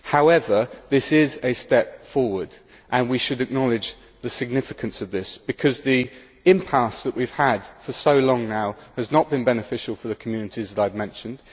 However, this is a step forward and we should acknowledge the significance of this, because the impasse that we have had for so long now has not been beneficial for the communities that I have mentioned.